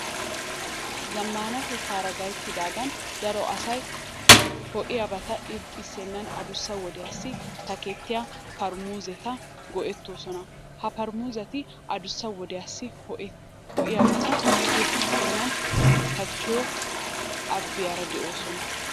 Zammaanatettaara gayttidaagan daro asay ho"iyabata irxxissennan adussa wodiyassi takettiya paaramuseta go"ettoosona. Ha paaramuseti adussa wodiyassi ho"iyabata irxxissennan takkiyo abbiyara de'oosona.